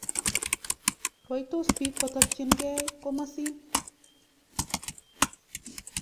Rwaitos piik kotokchin kei kumasin.